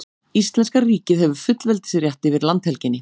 Íslenska ríkið hefur fullveldisrétt yfir landhelginni.